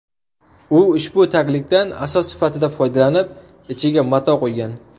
U ushbu taglikdan asos sifatida foydalanib, ichiga mato qo‘ygan.